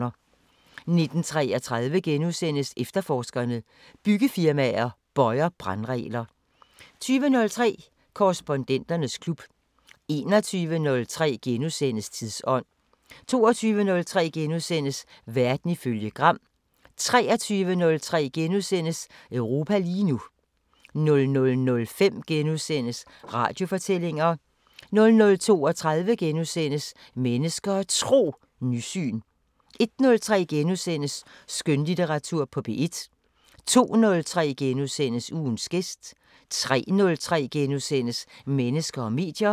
19:33: Efterforskerne: Byggefirmaer bøjer brandregler * 20:03: Korrespondenternes klub 21:03: Tidsånd * 22:03: Verden ifølge Gram * 23:03: Europa lige nu * 00:05: Radiofortællinger * 00:32: Mennesker og Tro: Nysyn * 01:03: Skønlitteratur på P1 * 02:03: Ugens gæst * 03:03: Mennesker og medier *